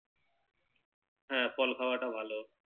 হ্যাঁ ফল খাওয়া টাও ভালো